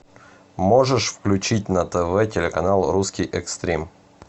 можешь включить на тв телеканал русский экстрим